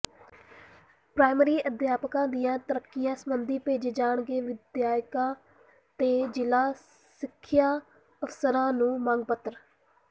primary ਅਧਿਆਪਕਾਂ ਦੀਆਂ ਤਰੱਕੀਆਂ ਸਬੰਧੀ ਭੇਜੇ ਜਾਣਗੇ ਵਿਧਾਇਕਾਂ ਤੇ ਜ਼ਿਲ੍ਹਾ ਸਿੱਖਿਆ ਅਫ਼ਸਰਾਂ ਨੂੰ ਮੰਗ ਪੱਤਰ